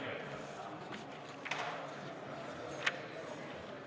Istungi lõpp kell 17.04.